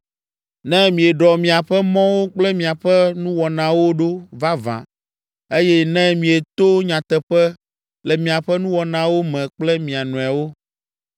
Ne mieɖɔ miaƒe mɔwo kple miaƒe nuwɔnawo ɖo vavã eye ne mieto nyateƒe le miaƒe nuwɔnawo me kple mia nɔewo,